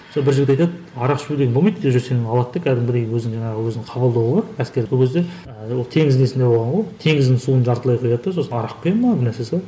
сол бір жігіт айтады арақ ішу деген болмайды уже сені алады да кәдімгідей өзінің жаңағы өзінің қабылдауы бар әскерге ол кезде ы ол теңіз несінде болған ғой теңіздің суын жартылай құяды да сосын арақ құя ма бірнәрсесі бар